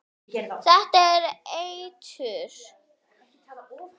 Danmörk fer á EM.